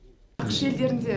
ақш елдерінде